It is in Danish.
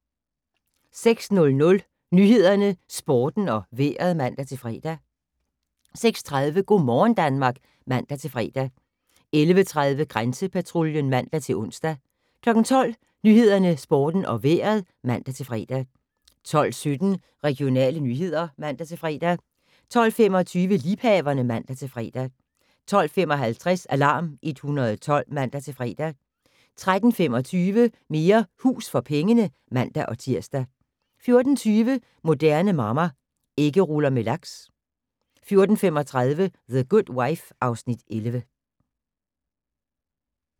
06:00: Nyhederne, Sporten og Vejret (man-fre) 06:30: Go' morgen Danmark (man-fre) 11:30: Grænsepatruljen (man-ons) 12:00: Nyhederne, Sporten og Vejret (man-fre) 12:17: Regionale nyheder (man-fre) 12:25: Liebhaverne (man-fre) 12:55: Alarm 112 (man-fre) 13:25: Mere hus for pengene (man-tir) 14:20: Moderne Mamma - Æggeruller med laks 14:35: The Good Wife (Afs. 11)